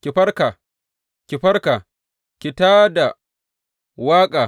Ki farka, ki farka, ki tā da waƙa!